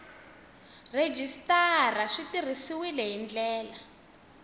rhejisitara swi tirhisiwile hi ndlela